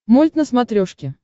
мульт на смотрешке